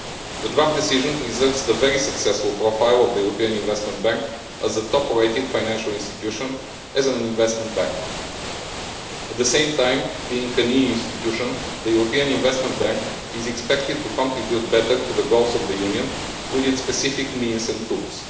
The draft decision preserves the very successful profile of the European Investment Bank as a top rated financial institution and investment bank. At the same time, being an EU institution, the European Investment Bank is expected to contribute better to the goals of the Union through its specific means and tools.